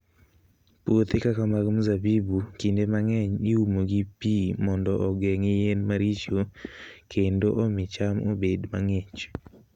Puothe kaka mag mzabibu, kinde mang'eny iumo gi pi mondo ogeng' yien maricho kendo omi cham obed mang'ich.